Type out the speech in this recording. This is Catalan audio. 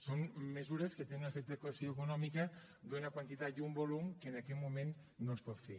són mesures que tenen una afectació econòmica d’una quantitat i un volum que en aquest moment no es pot fer